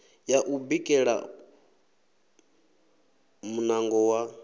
ya u bikela muṋango wa